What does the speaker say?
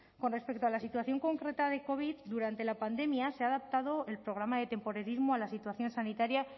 con respecto a la situación concreta de covid durante la pandemia se ha adaptado el programa de temporerismo a la situación sanitaria